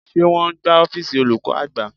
Ṣé wọn ń gbá ọ́fíìsì olùkọ́ àgbà?